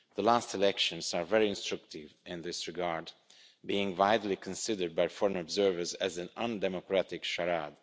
The last elections are very instructive in this regard, being widely considered by foreign observers as an undemocratic charade.